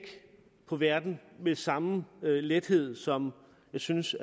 på verden med samme lethed som jeg synes